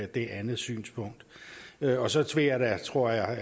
det andet synspunkt og så tror jeg